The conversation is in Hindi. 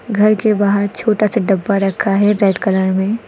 घर के बाहर छोटा से डब्बा रखा है रेड कलर में।